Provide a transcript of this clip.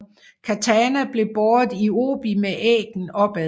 Katana blev båret i obi med æggen opad